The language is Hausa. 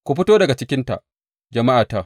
Ku fito daga cikinta, jama’ata!